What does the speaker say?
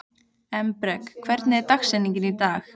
Embrek, hver er dagsetningin í dag?